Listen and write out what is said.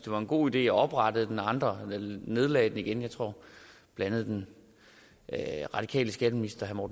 var en god idé og oprettede den og andre nedlagde den jeg tror at blandt andet den radikale skatteminister